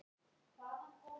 Og lífs míns vegna Pétur.